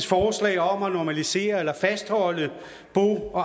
forslag om at normalisere eller fastholde bo